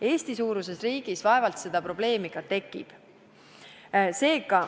Eesti-suuruses riigis vaevalt seda probleemi ka tekib.